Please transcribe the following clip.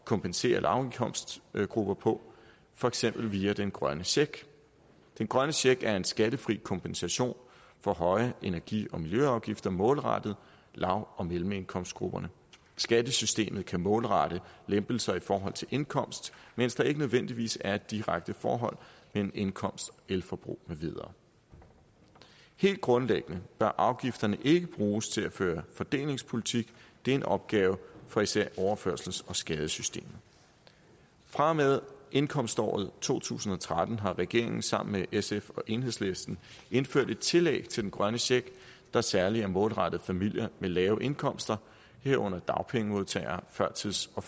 kompensere lavindkomstgrupper på for eksempel via den grønne check den grønne check er en skattefri kompensation for høje energi og miljøafgifter målrettet lav og mellemindkomstgrupperne skattesystemet kan målrette lempelser i forhold til indkomst mens der ikke nødvendigvis er et direkte forhold mellem indkomst og elforbrug med videre helt grundlæggende bør afgifterne ikke bruges til at føre fordelingspolitik det er en opgave for især overførsels og skadesystemet fra og med indkomståret to tusind og tretten har regeringen sammen med sf og enhedslisten indført et tillæg til den grønne check der særlig er målrettet familier med lave indkomster herunder dagpengemodtagere førtids og